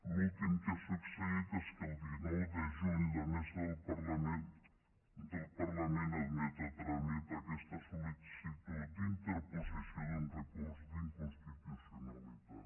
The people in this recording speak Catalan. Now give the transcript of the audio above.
l’últim que ha succeït és que el dinou de juny la mesa del parlament admet a tràmit aquesta sol·licitud d’interposició d’un recurs d’inconstitucionalitat